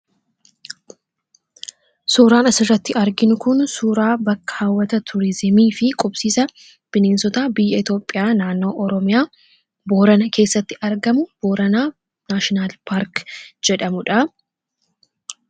Suuraan asirratti arginu kun suuraa bakka hawwata turiizimii fi qubsiisa bineensota biyya Itoophiyaa, naannoo Oromiyaa, Boorana keessatti argamu Booranaa Naashinaal Paark jedhamuu dha.